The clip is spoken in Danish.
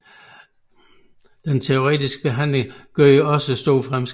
Den teoretiske behandling gjorde også store fremskridt